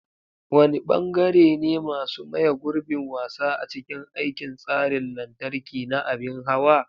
Wane bangare ne masu maye gurbin wasa a cikin aikin tsarin lantarki na abin hawa?